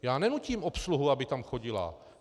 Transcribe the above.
Já nenutím obsluhu, aby tam chodila.